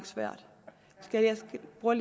ord